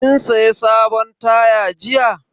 Kin saya sabon taya jiya?